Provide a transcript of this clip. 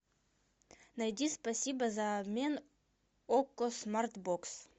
найди спасибо за обмен окко смарт бокс